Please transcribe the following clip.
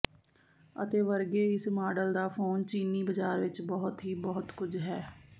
ਅਤੇ ਵਰਗੇ ਇਸ ਮਾਡਲ ਦਾ ਫੋਨ ਚੀਨੀ ਬਾਜ਼ਾਰ ਵਿਚ ਬਹੁਤ ਹੀ ਬਹੁਤ ਕੁਝ ਹੈ